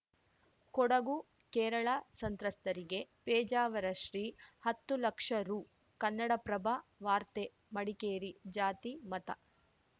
ಕೊಡಗು ಕೇರಳ ಸಂತ್ರಸ್ತರಿಗೆ ಪೇಜಾವರ ಶ್ರೀ ಹತ್ತು ಲಕ್ಷ ರು ಕನ್ನಡಪ್ರಭ ವಾರ್ತೆ ಮಡಿಕೇರಿ ಜಾತಿ ಮತ